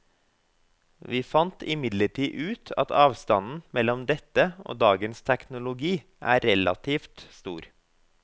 Vi fant imidlertid ut at avstanden mellom dette og dagens teknologi er relativt stor.